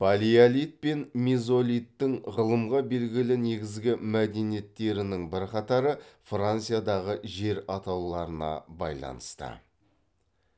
палеолит пен мезолиттің ғылымға белгілі негізгі мәдениеттерінің бірқатары франциядағы жер атауларына байланысты